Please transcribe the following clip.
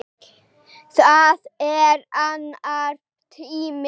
Það er annar tími.